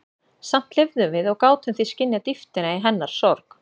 Samt lifðum við og gátum því skynjað dýptina í hennar sorg.